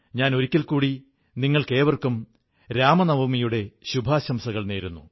ഞാൻ ഒരിക്കൽ കൂടി നിങ്ങൾക്കേവർക്കും രാമനവമിയുടെ ശുഭാശംസകൾ നേരുന്നു